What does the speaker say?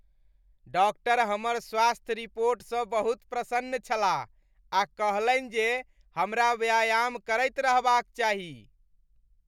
Doctor हमर स्वास्थ्य रिपोर्टसँ बहुत प्रसन्न छलाह आ कहलनि जे हमरा व्यायाम करैत रहबाक चाही।